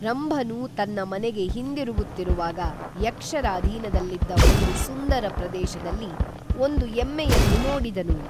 ರಂಭನು ತನ್ನ ಮನೆಗೆ ಹಿಂದಿರುಗುತ್ತಿರುವಾಗ ಯಕ್ಷರ ಅಧೀನದಲ್ಲಿದ್ದ ಒಂದು ಸುಂದರ ಪ್ರದೇಶದಲ್ಲಿ ಒಂದು ಎಮ್ಮೆಯನ್ನು ನೋಡಿದನು